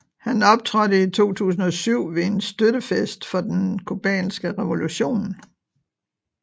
Han optrådte i 2007 ved en støttefest for den cubanske revolution